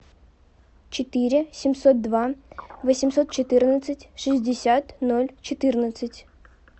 четыре семьсот два восемьсот четырнадцать шестьдесят ноль четырнадцать